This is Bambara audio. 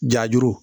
Jajuru